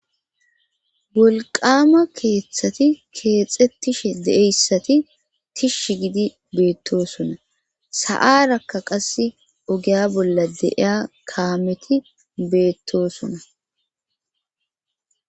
Wolqama keeththati keexettishe deeyssati tish gidi beettosona sa7arakka qase ogeya bolla deiya kaameti beettosona